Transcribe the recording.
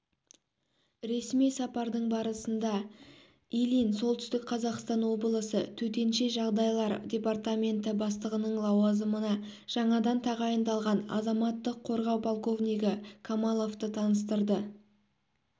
ресми сапардың барысында ильин солтүстік қазақстан облысы төтенеш жағдайлар департаменті бастығының лауазымына жаңадан тағайындалған азаматтық қорғау полковнигі камаловты таныстырды